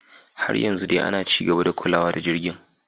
Har yanzu dai ana ci gaba da kulawa da jirgin.